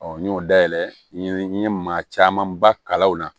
n y'o dayɛlɛ n ye n ye maa camanba kalaw na